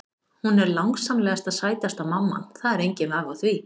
Hún er langsamlega sætasta mamman, það er enginn vafi á því.